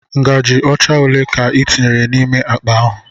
Ngaji ocha ole ka i tinyere n'ime akpa ahụ?